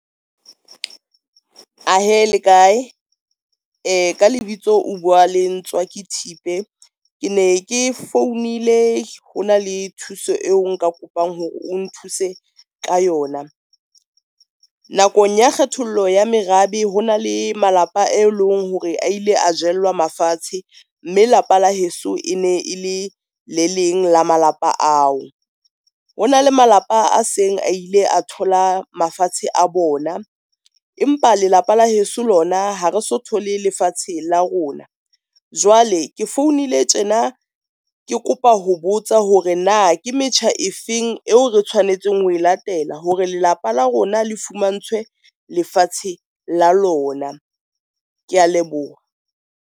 Ahee lekae? ka lebitso, o bua le Ntswaki Thipe, ke ne ke founile hona le thuso eo nka kopang hore o nthuse ka yona. Nakong ya kgethollo ya merabe ho na le malapa e leng hore a ile a jellwa mafatshe mme lapa la heso e ne e le le leng la malapa ao. Ho na le malapa a seng a ile a thola mafatshe a bona, empa lelapa la heso lona ha re so thole lefatshe la rona. Jwale ke founile tjena ke kopa ho botsa hore na ke metjha e feng eo re tshwanetseng ho e latela hore lelapa la rona le fumantshwe lefatshe la lona. Kea leboha.